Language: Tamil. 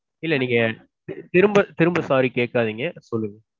இல்ல நீங்க திரும்ப திரும்ப sorry கேக்காதீங்க. சொல்லுங்க.